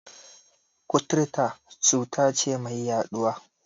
Kuturta cuta ce mai yaɗuwa.